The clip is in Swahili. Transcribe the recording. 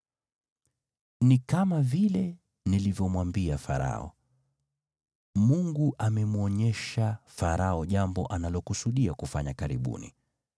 “Ni kama vile nilivyomwambia Farao: Mungu amemwonyesha Farao jambo analokusudia kufanya karibuni.